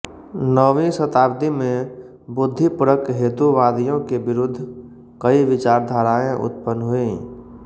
नवीं शताब्दी में बुद्धिपरक हेतुवादियों के विरुद्ध कई विचारधाराएँ उत्पन्न हुईं